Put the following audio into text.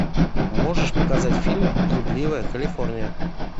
можешь показать фильм блудливая калифорния